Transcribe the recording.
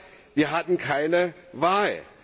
Aber wir hatten keine Wahl.